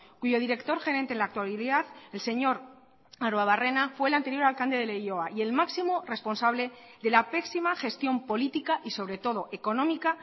cuyo director gerente en la actualidad el señor arruabarrena fue el anterior alcalde de leioa y el máximo responsable de la pésima gestión política y sobre todo económica